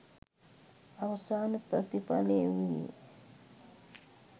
අවසාන ප්‍රතිඵලය වූයේ